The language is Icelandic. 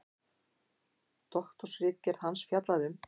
Doktorsritgerð hans fjallaði um